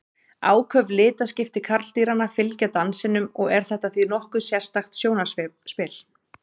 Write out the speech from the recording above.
Áköf litaskipti karldýranna fylgja dansinum og er þetta því nokkuð sérstakt sjónarspil.